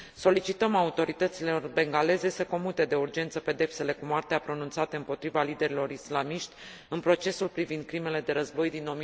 Solicităm autorităților bengaleze să comute de urgență pedepsele cu moartea pronunțate împotriva liderilor islamiști în procesul privind crimele de război din